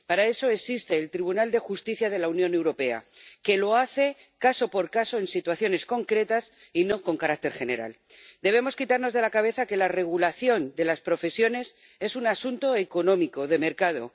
Para eso existe el Tribunal de Justicia de la Unión Europea, que lo hace caso por caso en situaciones concretas y no con carácter general. Debemos quitarnos de la cabeza que la regulación de las profesiones es un asunto económico, de mercado.